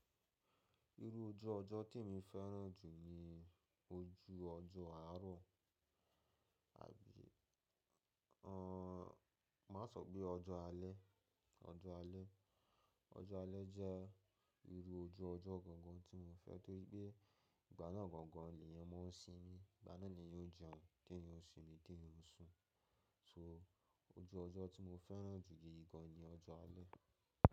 Irú ojú ọjọ́ tí mo fẹ́ràn jù jẹ ojú ọjọ́ àárọ̀ àbí, a n má sọ pé ọjọ́ alẹ́, ọjọ́ alẹ́. Ọjọ́ alẹ́ jẹ́ irú ojú ọjọ́ gangan tí mo fẹ́ torí pé ìgbà náà gan gan èniyan máa ń sin ní, ìgbà náà ni èèyàn jẹun, ti eyan ó sin mí, ti eyan ó ń sùn. So ojú ọjọ́ tí mo fẹ́ràn jù yí gan ni ọjọ́ alẹ́.